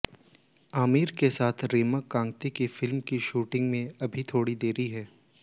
आमिर के साथ की रीमा कांगती की फिल्म की शूटिंग में अभी थोड़ी देरी है